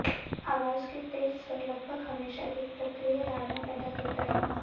आवाज के तेज स्वर लगभग हमेशा एक अप्रिय धारणा पैदा करता है